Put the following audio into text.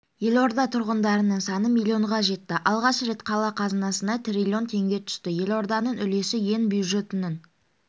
елорда тұрғындарының саны миллионға жетті алғаш рет қала қазынасына триллион теңге түсті елорданың үлесі ел бюджетінің